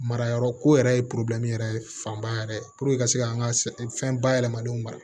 Mara yɔrɔ ko yɛrɛ ye yɛrɛ fanba yɛrɛ ye ka se ka an ka fɛn bayɛlɛmalenw mara